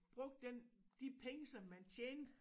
Brugte den de penge som man tjente